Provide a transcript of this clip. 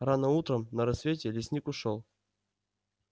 рано утром на рассвете лесник ушёл